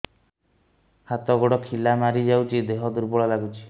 ହାତ ଗୋଡ ଖିଲା ମାରିଯାଉଛି ଦେହ ଦୁର୍ବଳ ଲାଗୁଚି